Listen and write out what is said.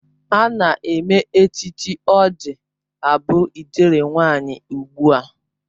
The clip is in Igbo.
Ana eme echichi ọ ji abụ ijele nwanyi ugbua.